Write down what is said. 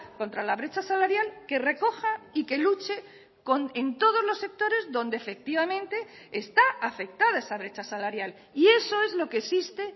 contra la brecha salarial que recoja y que luche en todos los sectores donde efectivamente está afectada esa brecha salarial y eso es lo que existe